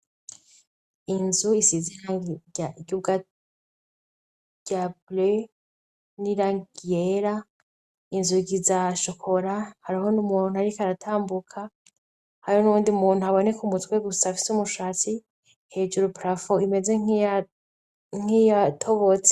Inzu isize irangi rya bleu n'irangi ryera. Inzugi za shokora. Hariho n'umuntu ariko aratambuka hariho n'uwndi muntu aboneka umutwe gusa afise umushatsi, Hejuru prafo imeze nkiyatobotse.